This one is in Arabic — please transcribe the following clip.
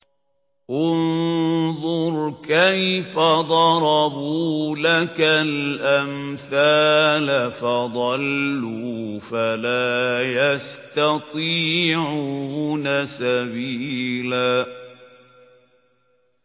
انظُرْ كَيْفَ ضَرَبُوا لَكَ الْأَمْثَالَ فَضَلُّوا فَلَا يَسْتَطِيعُونَ سَبِيلًا